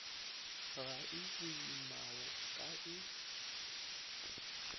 ga e boimao ka e